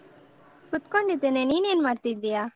ಕೂತ್ಕೊಂಡಿದ್ದೇನೆ ನೀನೇನ್ ಮಾಡ್ತಿದ್ಯಾ?